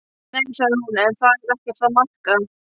Nei, sagði hún, en það er ekkert að marka.